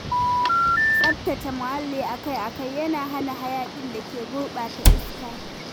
Tsabtace muhalli akai-akai yana hana hayaƙin da ke gurɓata iska.